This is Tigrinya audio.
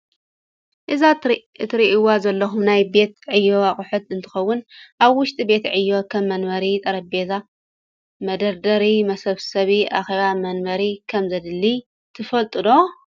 እዚ እትሪእዎ ዘለኹም ናይ ቤት ዕዮ ኣቅሑት እንትኽውን ኣብ ውሽጢ ቤት ዕዮ ከም ወንበር፣ ጠሬቤዛ፣ መደርደሪ፣ መሰብሰቢ አኼባ ወንበር ከም ዘድሊ ትፈልጡ ዶ?